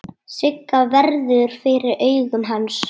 Sigga verður fyrir augum hans.